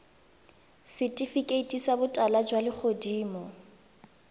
setifikeiti sa botala jwa legodimo